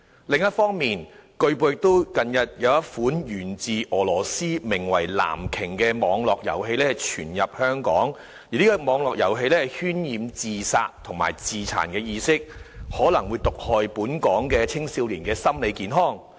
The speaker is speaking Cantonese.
另一方面，據報近日有一款源自俄羅斯名為"藍鯨"的網絡遊戲傳入香港，而該遊戲渲染自殺及自殘意識，可能毒害本港青少年的心理健康。